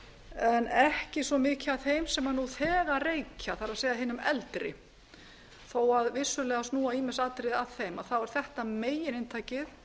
en ekki svo mikið að þeim sem nú þegar reykja það er hinum eldri þó vissulega snúa ýmis atriði að þeim þá er þetta megininntakið